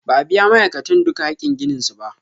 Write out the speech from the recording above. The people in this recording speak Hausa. Ba a biya ma'aikatan duka hakin ginin su ba.